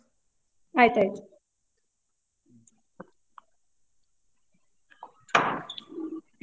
ಆಯ್ತಾಯ್ತು.